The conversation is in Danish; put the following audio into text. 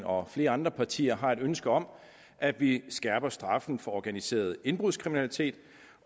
og flere andre partiers side har et ønske om at vi skærper straffen for organiseret indbrudskriminalitet